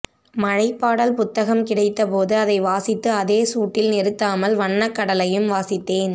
மழைப்பாடல் புத்தகம் கிடைத்தபோது அதை வாசித்து அதே சூட்டில் நிறுத்தாமல் வண்ணக்கடலையும் வாசித்தேன்